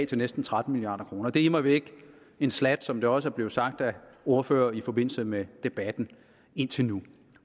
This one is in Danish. til næsten tretten milliard kroner det er immer væk en slat som det også er blevet sagt af ordførere i forbindelse med debatten indtil nu